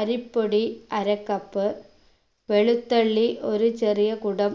അരിപ്പൊടി അര cup വെളുത്തുള്ളി ഒരു ചെറിയ കുടം